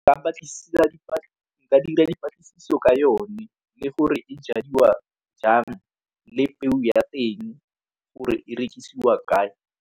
Ba dira dipatlisiso ka yone le gore e jadiwa jang le peo ya teng gore e rekisiwa kae.